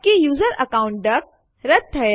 ચાલો આગળ જતાં પહેલાં સ્ક્રીન સાફ કરીએ